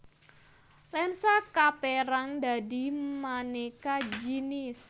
Lensa kaperang dadi maneka jinis